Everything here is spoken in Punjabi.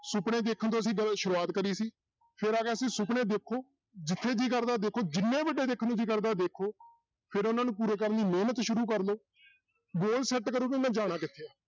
ਸੁਪਨੇ ਦੇਖਣ ਤੋਂ ਅਸੀਂ ਸ਼ੁਰੂਆਤ ਕਰੀ ਸੀ ਫਿਰ ਆ ਗਿਆ ਸੀ ਸੁਪਨੇ ਦੇਖੋ, ਜਿੱਥੇ ਜੀਅ ਕਰਦਾ ਦੇਖੋ, ਜਿੰਨੇ ਵੱਡੇ ਦੇਖਣ ਨੂੰ ਜੀਅ ਕਰਦਾ ਦੇਖੋ ਫਿਰ ਉਹਨਾਂ ਨੂੰ ਪੂਰਾ ਕਰਨ ਲਈ ਮਿਹਨਤ ਸ਼ੁਰੂ ਕਰ ਲਓ ਗੋਲ ਸੈਟ ਕਰੋ ਕਿ ਮੈਂ ਜਾਣਾ ਕਿੱਥੇ ਹੈ